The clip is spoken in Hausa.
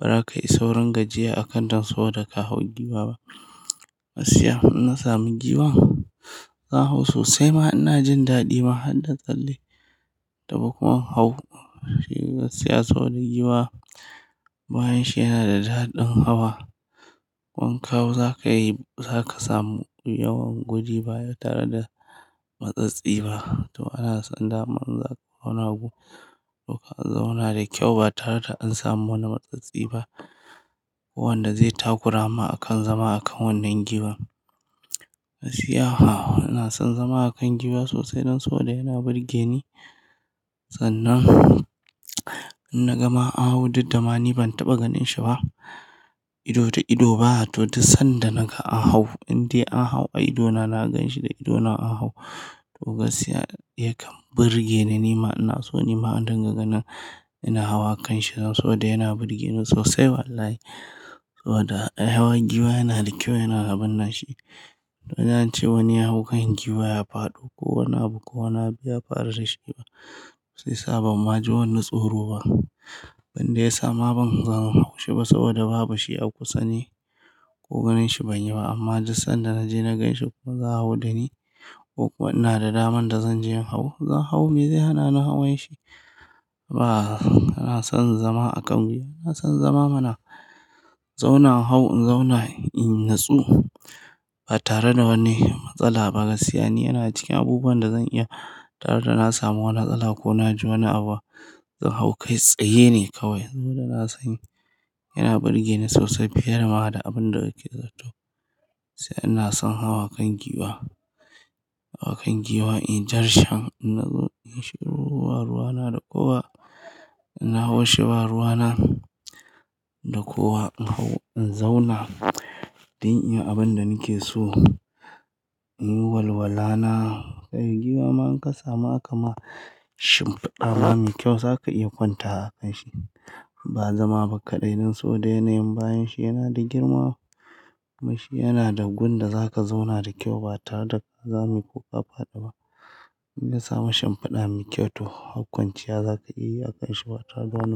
Ba za ka yi saurin gajiya a kan ta saboda ka hau giwa ba. Gasikya ina samun giwa, zan hau sosai ma ina jin daɗi ma har na tsalle da ba kuma in hau shiga siyasa wani giwa. Bayan shi yana da daɗin hawa, wanka za ka yi za ka samu yawan gudi baya tare da matsatsi ba. To ana so in da mu za ku zauna gu, to ka zauna da kyau ba tare da an samu wani matsatsi ba. Ko wanda zai takura ma a kan zama a kan wannan giwan. Gaskiya a hau ina son zama a kan giwa sosai don saboda yana burge ni. Sannan in na gama a hau duk da ma ni ban taɓa ganin shi ba ido da ido ba, to duk sanda naga a hau in dai a hau a ido na, na ganshi da ido na a hau. To gaskiya yake burge ni nima ina so nima don gangani ina hawa a kan shi saboda yana burge ni sosai wallahi. Saboda hawan giwa yana da kyau yana gabanna shi, to na ji an ce wani ya hau kan giwa ya faɗo ko wana abu ko wana abu ya faru da shi ba sosai. Shi yasa ban ma ji wani tsoro ba, wanda ya sa ma ban zan hau shi ba saboda babu shi a kusa ne ko ganin shi banyi ba. Amma duk sanda naje na gan shi kuma za a hau da ni ko ina da daman da zan je in hau, zan hau me zai hana ni hawan shi? Ba, ina son zama a kan giwa ina son zama mana zauna in hau in zauna in natsu ba tare da wani matsala ba. Gaskiya ne yana cikin abubuwan da zan iya tare da na samu wani tsala ko na ji wani abu, zan hau kai tsaye ne kawai saboda ina son yi. Yana burge ni sosai fiye da ma da abin da yake zatto. Sai ina son hawa kan giwa, hawa kan giwa in darshan nazo in yi shiru ba ruwa na da kowa, ina hawo shi ba ruwa na da kowa in hau in zauna don in yi abin da nake so, in yi walwala na. Kai giwa ma in ka samu akama shimfiɗa mai kyau za ka iya kwanta a kan shi ba zama ba kaɗai don saboda yana yin bayan shi yana da girma. Amma shi yana da gun da za ka zauna da kyau ba tare da ka zame ko ka faɗi ba. In ka samu shimfiɗa mai kyau to har kwanciya za ka yi a kan shi ba tare da wani-